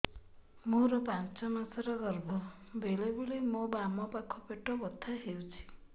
ମୋର ପାଞ୍ଚ ମାସ ର ଗର୍ଭ ବେଳେ ବେଳେ ମୋ ବାମ ପାଖ ପେଟ ବଥା ହଉଛି